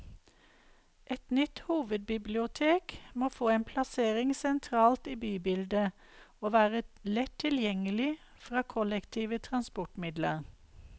Et nytt hovedbibliotek må få en plassering sentralt i bybildet, og være lett tilgjengelig fra kollektive transportmidler.